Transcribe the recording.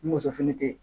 Ni muso fini te ye